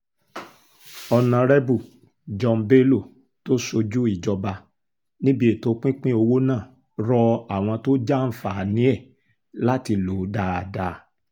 ọ̀nàrẹ́bù john bello tó ṣojú ìjọba níbi ètò pinpin owó náà rọ àwọn tó jàǹfààní ẹ̀ láti lò ó dáadáa